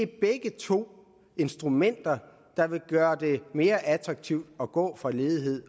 begge to instrumenter der vil gøre det mere attraktivt at gå fra ledighed